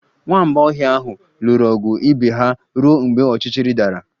Nwamba ọhịa ahụ lụrụ ọgụ ibe ha ruo mgbe ọchịchịrị dara